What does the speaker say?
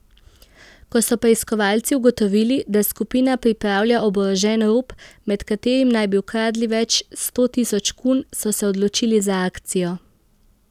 Ko so preiskovalci ugotovili, da skupina pripravlja oborožen rop, med katerim naj bi ukradli več sto tisoč kun, so se odločili za akcijo.